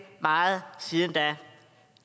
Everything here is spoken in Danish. meget siden da